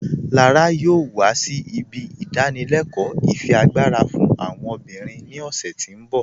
Lára yọọ wà sí ibi ìdánìlẹ̀kọ ifiagbara fún àwọn obìnrin ni ọ̀ṣẹ̀ tí n bọ̀.